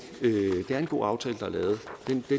aftale som